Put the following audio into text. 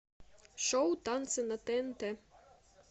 шоу танцы на тнт